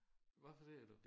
Hvad siger du